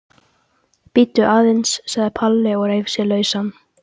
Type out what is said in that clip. Bíddu aðeins sagði Palli og reif sig lausan.